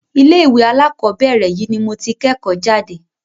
ilé ìwé alákọ̀berẹ̀ yìí ni mo tí kẹ́kọ̀ọ́ jáde.